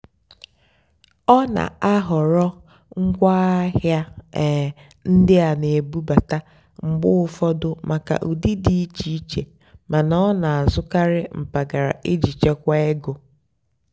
ọ́ nà-àhọ̀rọ́ ngwáàhịá um ndí á nà-èbúbátá mgbe ụ́fọ̀dụ́ màkà ụ́dị́ dì íché íché màná ọ́ nà-àzụ́karị́ mpàgàrà ìjì chèkwáà égó.